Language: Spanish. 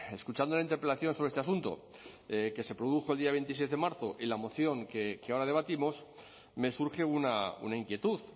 escuchando la interpelación sobre este asunto que se produjo el día veintiséis de marzo y la moción que ahora debatimos me surge una inquietud